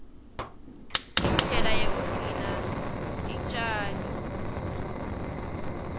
indlela yekugcina titjalo